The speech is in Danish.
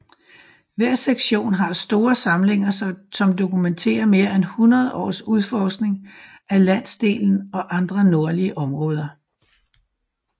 Hver sektion har store samlinger som dokumenterer mere end 100 års udforskning af landsdelen og andre nordlige områder